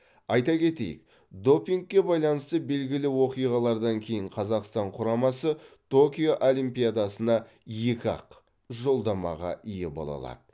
айта кетейік допингке байланысты белгілі оқиғалардан кейін қазақстан құрамасы токио олимпиадасына екі ақ жолдамаға ие бола алады